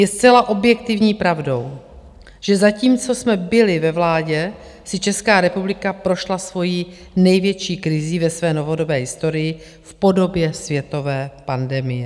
Je zcela objektivní pravdou, že zatímco jsme byli ve vládě, si Česká republika prošla svojí největší krizí ve své novodobé historii v podobě světové pandemie.